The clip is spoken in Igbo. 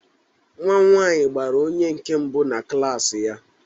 Nwa m nwanyị gbara onye nke mbụ na klaasi ya.